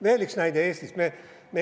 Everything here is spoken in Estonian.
Veel üks näide Eestist.